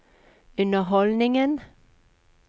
underholdningen